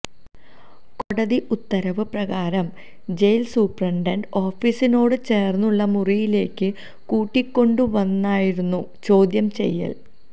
കോടതി ഉത്തരവ് പ്രകാരം ജയിൽ സൂപ്രണ്ട് ഓഫീസിനോട് ചേർന്നുള്ള മുറിയിലേക്ക് കൂട്ടിക്കൊണ്ടുവന്നായിരുന്നു ചോദ്യം ചെയ്യൽ